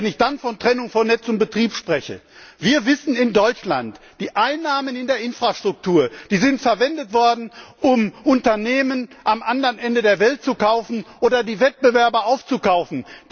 Und wenn ich dann von Trennung von Netz und Betrieb spreche Wir wissen in Deutschland, die Einnahmen in der Infrastruktur sind verwendet worden, um Unternehmen am anderen Ende der Welt zu kaufen oder die Wettbewerber aufzukaufen.